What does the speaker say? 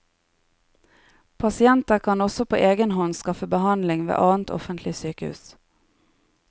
Pasienter kan også på egen hånd skaffe behandling ved annet offentlig sykehus.